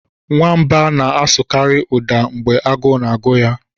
Nwamba na-asụkarị ụda mgbe agụụ na-agụ ya.